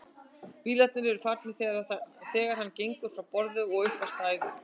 Bílarnir eru farnir þegar hann gengur frá borði og upp á stæðið.